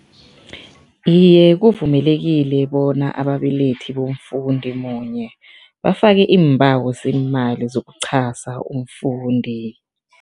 Iye, kuvumelekile bona ababelethi bomfundi munye bafake iimbawo zeemali zokuchasa umfundi.